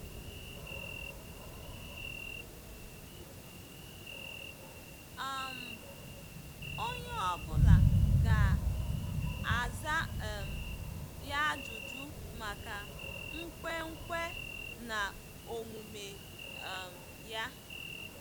um Onye ọ bụla ga-aza um ya ajụjụ maka nkwenkwe na omume um ya.